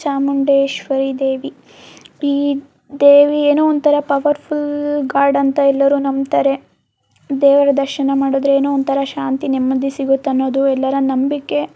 ಚಾಮುಂಡೇಶ್ವರಿ ದೇವಿ ಈ ದೇವಿ ಏನೋ ಒಂದತರ ಪವರ್ಫುಲ್ ಗಾಡ್ ಅಂತ ಎಲ್ಲರೂ ನಂಬುತಾರೆ ದೇವರ ದರ್ಶನ ಮಾಡಿದರೆ ಏನೋ ಒಂದತರ ಶಾಂತಿ ನೆಮ್ಮದಿ ಸಿಗುತ್ತೆ ಹೇಳುವುದು ಎಲ್ಲರ ನಂಬಿಕೆ --